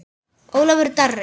Ólafur Darri.